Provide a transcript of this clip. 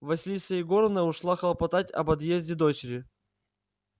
василиса егоровна ушла хлопотать об отъезде дочери